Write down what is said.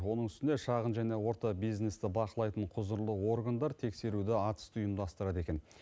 оның үстіне шағын және орта бизнесті бақылайтын құзырлы органдар тексеруді атүсті ұйымдастырады екен